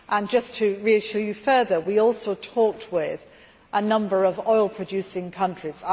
Just to reassure you further, we also talked with a number of oil producing countries.